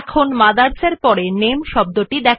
place the cursor after the word mothers